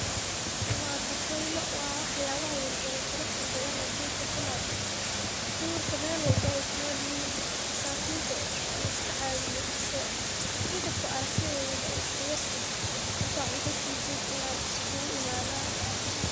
Waa bakaylo waa waxyabaha yaryar ee quruxda badan ee duurka ku nool. Duurka mel walbo ayay ku noolyihiin masakinta eh oo laiska caawiyo mise in kasto aragtidayda ba iska yarytehe intad cunta siisid inaad iskugu imaadan.